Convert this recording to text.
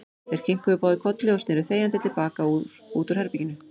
Þeir kinkuðu báðir kolli og sneru þegjandi til baka út úr herberginu.